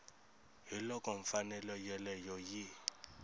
ka loko mfanelo yoleyo yi